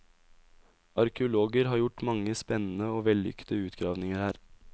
Arkeologer har gjort mange spennende og vellykkede utgravninger her.